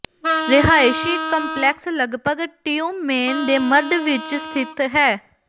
ਰਿਹਾਇਸ਼ੀ ਕੰਪਲੈਕਸ ਲਗਭਗ ਟਿਯੂਮੇਨ ਦੇ ਮੱਧ ਵਿਚ ਸਥਿਤ ਹੈ